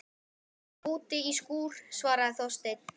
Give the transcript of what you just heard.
Hérna úti í skúr- svaraði Þorsteinn.